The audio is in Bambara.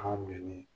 An ka minɛ ni